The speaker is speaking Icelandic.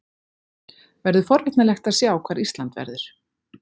Verður forvitnilegt að sjá hvar Ísland verður.